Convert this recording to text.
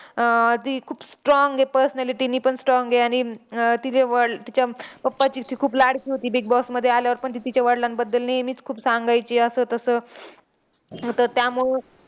अह ती खूप strong आहे personally. तिनेपण strong आहे, आणि अह तिचे वडील तिच्या papa ची ती खूप लाडकी होती. बिग बॉसमध्ये आल्यावर पण ती तिच्या वडिलांबद्दल नेहमीच खूप सांगायची असं तसं. तर त्यामुळं